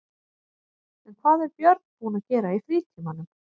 En hvað er Björn búinn að vera að gera í frítímanum?